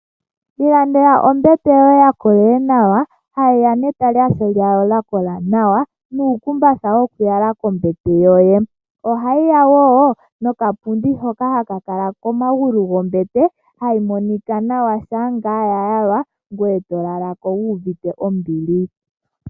Ilandela ombete yoye ya kola nawa, ha yita ne talashe lyawo lya kola nawa, nuu kumbatha wo kuyala kombete yoye. Oha yiya wo no kapundi hoka ha kakala komagulu gombete, hayi monika nawa sha ngaa ya yalwa ngoye to lalako wu uvite ombili.